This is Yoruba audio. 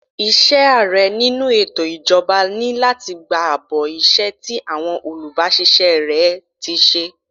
Iṣẹ́ Ààrẹ nínú ètò ìjọba ni láti gba àbọ̀ iṣẹ́ tí àwọn olubasise rẹ ti ṣe.